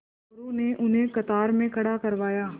मोरू ने उन्हें कतार में खड़ा करवाया